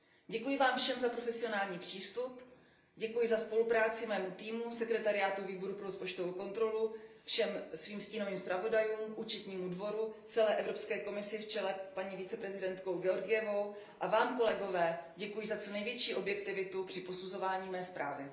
Děkuju vám všem za profesionální přístup, děkuji za spolupráci mému týmu, sekretariátu Výboru pro rozpočtovou kontrolu, všem svým stínovým zpravodajům, Účetnímu dvoru, celé Evropské komisi v čele s paní místopředsedkyní Georgievovou a vám, kolegové, děkuji za co největší objektivitu při posuzování mé zprávy.